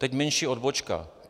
Teď menší odbočka.